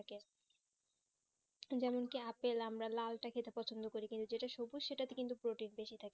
বলুন কি apple আমরা লাল তা খেতে পছন্দ করি কিন্তু যেটা সুবুজ সেটা তে কিন্তু প্রোটিন বেশি থাকে